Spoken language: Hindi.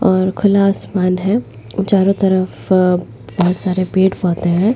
और खुला आसमान है चारों तरफ बहुत सारे पेड़ पहुते हैं।